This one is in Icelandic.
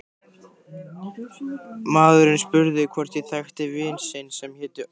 Maðurinn spurði hvort ég þekkti vin sinn sem héti Örn